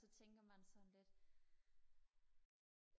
så tænker man sådan lidt